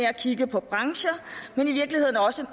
at kigge på brancher men i virkeligheden også